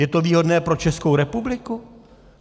Je to výhodné pro Českou republiku?